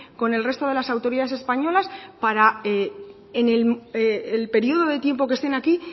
con el resto de las autoridades españolas para en el periodo de tiempo que estén aquí